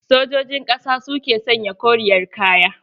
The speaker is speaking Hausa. Sojojin ƙasa su ke sanya koriyar kaya.